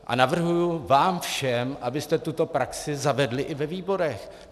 A navrhuji vám všem, abyste tuto praxi zavedli i ve výborech.